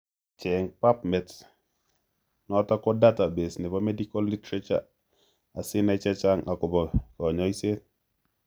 Cheng' pubmed notok ko database nebo medical literature asinai chechang' agobo kanyoiset